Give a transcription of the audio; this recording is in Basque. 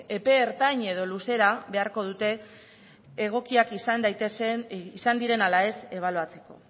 epe ertain edo luzera beharko dute egokiak izan diren ala ez ebaluatzeko